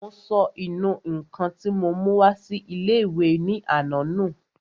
Mo sọ ìnù-ǹkan tí mo mú wá sí ilé-ìwé ní àná nù